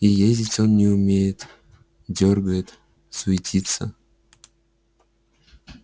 и ездить он не умеет дёргает суетится